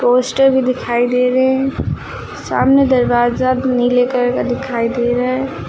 Poster भी दिखाई दे रहे है सामने दरवाजा नीले कलर का दिखाई दे रहा है।